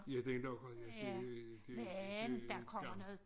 Ja den lukker jo det det det gammelt